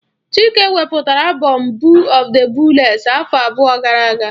Chike wepụtara abom Boo of the booless afọ abụọ gara aga.